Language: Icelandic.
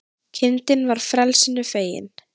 Kindin var frelsinu fegin